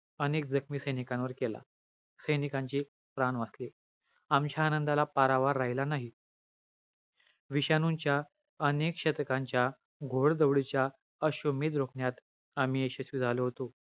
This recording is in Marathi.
अनेक जखमी सैनिकांवर केला. सैनीकांचे प्राण वाचले. आमच्या आनंदाला पारावर राहिला नाही. विषाणूंच्या अनेक शतकांच्या, घौडदौडीच्या अश्वमेध रोखण्यात आम्ही यशस्वी झालो होतो.